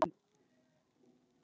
Hlátur og meiri hlátur.